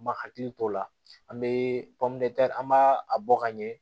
Ma hakili t'o la an bɛ panpomtɛri an b'a a bɔ ka ɲɛ